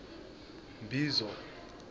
mbizo